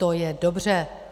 To je dobře.